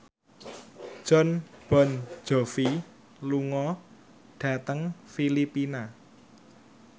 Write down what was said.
Jon Bon Jovi lunga dhateng Filipina